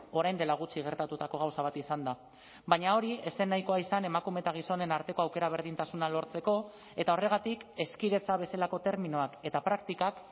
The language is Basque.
orain dela gutxi gertatutako gauza bat izan da baina hori ez zen nahikoa izan emakume eta gizonen arteko aukera berdintasuna lortzeko eta horregatik hezkidetza bezalako terminoak eta praktikak